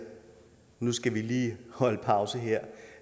nu skal vi lige holde pause her